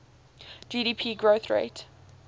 gdp growth rate